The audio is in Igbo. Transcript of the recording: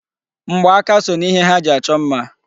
Mgba aka so n'ihe ha ji achọ mma.